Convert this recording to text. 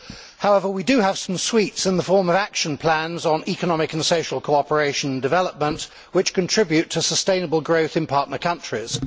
However, we do have some sweets in the form of action plans on economic and social cooperation and development, which contribute to sustainable growth in partner countries.